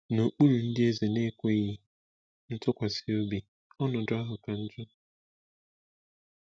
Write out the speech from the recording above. N’okpuru ndị eze na-ekwesịghị ntụkwasị obi, ọnọdụ ahụ ka njọ.